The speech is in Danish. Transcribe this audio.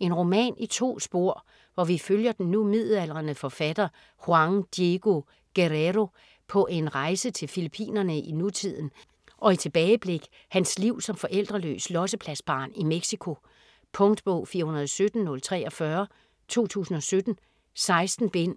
En roman i to spor, hvor vi følger den nu midaldrende forfatter Juan Diego Guerrero på en rejse til Fillippinerne i nutiden og i tilbageblik hans liv som forældreløs "lossepladsbarn" i Mexico. Punktbog 417043 2017. 16 bind.